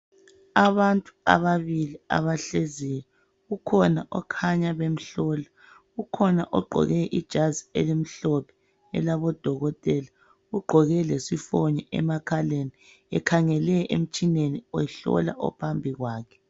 Abantu ababili abahleziyo. Kukhona okhanya bemhlola. Kukhona ogqoke ijazi elimhlophe elabodokotela, ugqoke lesifonye emakhaleni ekhangele emtshineni ehlola ophambi kwakhe.